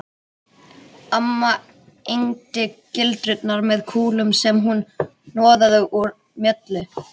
Amma egndi gildrurnar með kúlum sem hún hnoðaði úr mjöli